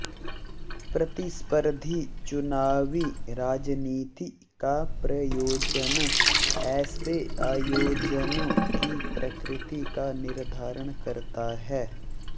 प्रतिस्पर्धी चुनावी राजनीति का प्रयोजन ऐसे आयोजनों की प्रकृति का निर्धारण करता है